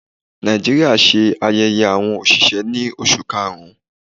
Nàìjíríà ṣe ayẹyẹ awọn oṣiṣẹ ni Oṣu Karun.